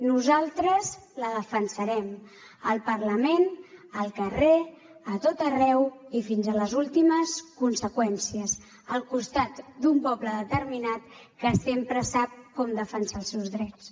nosaltres la defensarem al parlament al carrer a tot arreu i fins a les últimes conseqüències al costat d’un poble determinat que sempre sap com defensar els seus drets